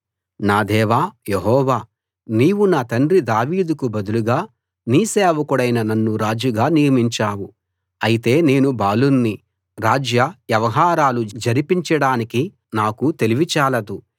నా దేవా యెహోవా నీవు నా తండ్రి దావీదుకు బదులుగా నీ సేవకుడైన నన్ను రాజుగా నియమించావు అయితే నేను బాలుణ్ణి రాజ్య వ్యవహారాలు జరిపించడానికి నాకు తెలివి చాలదు